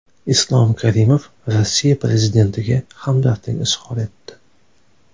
Islom Karimov Rossiya Prezidentiga hamdardlik izhor etdi.